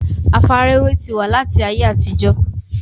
àfarawé ti wà láti ayé àtijọ́